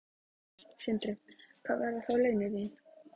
Sindri: Hver verða þá laun þín?